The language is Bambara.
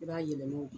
I b'a yɛlɛma